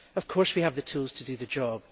Of course we have the tools to do the job.